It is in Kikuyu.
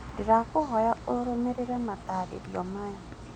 Ndĩrakũĩhoya ũrũmĩrĩrĩ mataarĩrio maya.